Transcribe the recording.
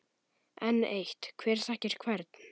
Enn eitt: Hver þekkir hvern?